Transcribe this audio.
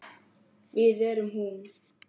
Við erum hún.